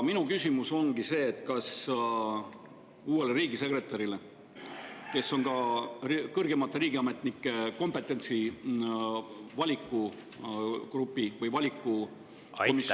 Minu küsimus ongi see: kas uuele riigisekretärile, kes on ka kõrgemate riigiametnike valiku komisjoni esimees …